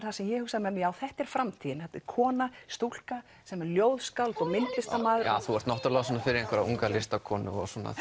það sem ég hugsa með mér þetta er framtíðin þetta er kona stúlka sem er ljóðskáld og myndlistarmaður þú ert náttúrlega fyrir einhverja unga listakonu